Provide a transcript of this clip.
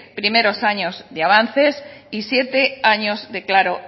primeros años de avances